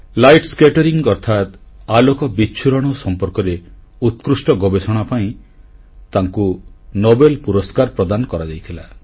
light scattering ଅର୍ଥାତ୍ ଆଲୋକ ବିଚ୍ଛୁରଣ ସମ୍ପର୍କରେ ଉତ୍କୃଷ୍ଟ ଗବେଷଣା ପାଇଁ ତାଙ୍କୁ ନୋବେଲ ପୁରସ୍କାର ପ୍ରଦାନ କରାଯାଇଥିଲା